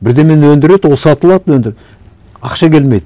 бірдеңені өндіреді ол сатылады ақша келмейді